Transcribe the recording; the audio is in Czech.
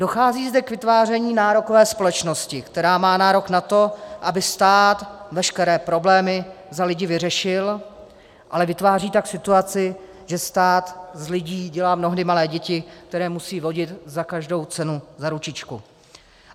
Dochází zde k vytváření nárokové společnosti, která má nárok na to, aby stát veškeré problémy za lidi vyřešil, ale vytváří tak situaci, že stát z lidí dělá mnohdy malé děti, které musí vodit za každou cenu za ručičku.